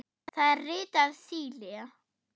Það er ritað Síle.